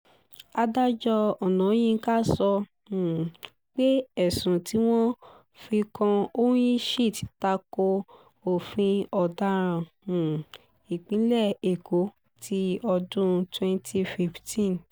adájọ́ ọ̀náyinka sọ um pé ẹ̀sùn tí wọ́n fi kan onyinchit ta ko òfin ọ̀daràn um ìpínlẹ̀ èkó ti ọdún twenty fifteen